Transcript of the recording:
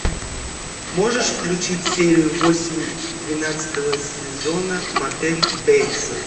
можешь включить серию восемь двенадцатого сезона мотель бейтсов